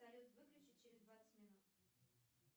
салют выключи через двадцать минут